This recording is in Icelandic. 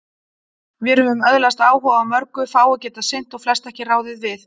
Vér höfum öðlast áhuga á mörgu, fáu getað sinnt og flest ekki ráðið við.